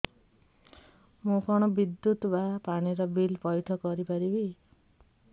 ମୁ କଣ ବିଦ୍ୟୁତ ବା ପାଣି ର ବିଲ ପଇଠ କରି ପାରିବି